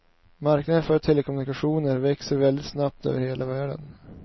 Marknaden för telekommunikationer växer väldigt snabbt över hela världen.